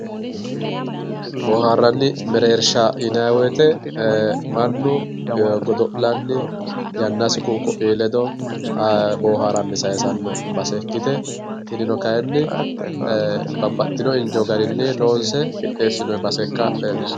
boohaarranni mereersha yinanni wote ee mannu godo'lanni yannasi ku'u ku'ii ledo boohaaranni sayiisanno base ikkite tinino kayiinni babbaitino injo garinni loonse qixxeessinoonni base ikka leellishshanno.